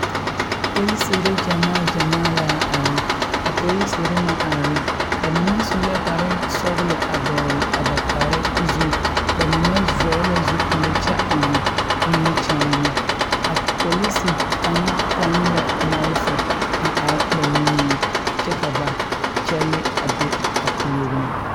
Polisire gymaa gyamaa la are. A polisire naŋ are, ba mene su la kpare sɔglɔ a dogle a ba kpare zu. Ba mene vogle la zupule kyɛ eŋ nimikyaane. A polisi kang pon lɛ mɔlefɔ a are ba niŋe kyɛ ka ba kyɛle a be a pooreŋ